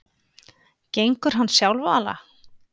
Gengur hann sjálfala?